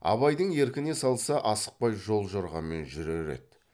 абайдың еркіне салса асықпай жол жорғамен жүрер еді